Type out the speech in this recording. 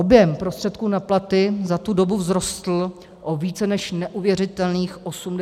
Objem prostředků na platy za tu dobu vzrostl o více než neuvěřitelných 86 mld.